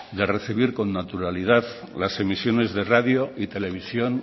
de recibir con naturalidad las emisiones de radio y televisión